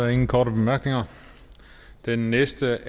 ingen korte bemærkninger den næste